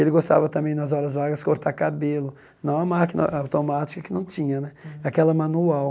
Ele gostava também, nas horas vagas, cortar cabelo, não a máquina automática que não tinha né, aquela manual.